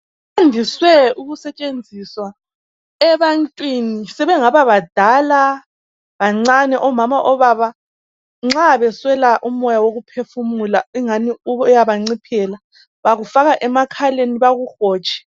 kwandise ukusetshenziswa ebantwini sebengaba badala, bancane obaba labomama nxa beswela umoya wokuphefumula ingani uyabanciphela bakufaka emakhaleni bakuhotshe.